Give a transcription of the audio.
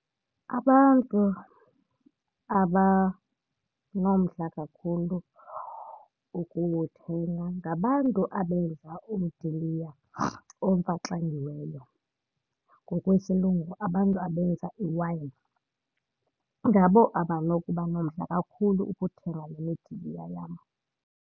Abantu abanomdla kakhulu ukuthenga ngabantu abenza umdiliya omfaxangiweyo, ngokwesiLungu abantu abenza i-wine. Ngabo abanokuba nomdla kakhulu ukuthenga le midiliya yam.